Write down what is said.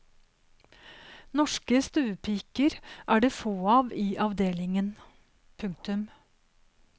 Norske stuepiker er det få av i avdelingen. punktum